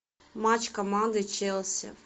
матч команды челси